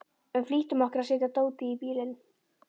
Við flýttum okkur að setja dótið í bílinn.